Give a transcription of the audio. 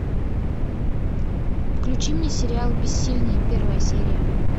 включи мне сериал бессильные первая серия